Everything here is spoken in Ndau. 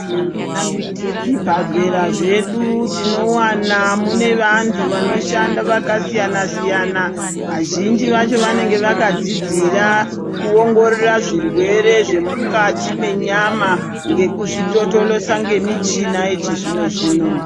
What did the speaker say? Muzvibhedhlera zvedu tinowana mune vantu vanoshanda vakasiyana siyana. Vazhinji vacho vanenga vakadzidzira kuongorora zvirwere zvemukati menyama ngekuzvitotolosa ngemichina yechizvino zvino.